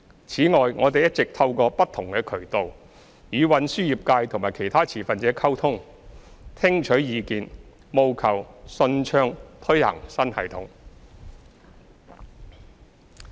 此外，我們一直透過不同渠道，與運輸業界及其他持份者溝通，聽取意見，務求順暢推行新系統。